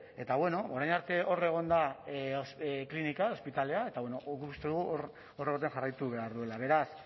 eta bueno orain arte hor egon da klinika ospitalea eta bueno guk uste dugu hor jarraitu behar duela beraz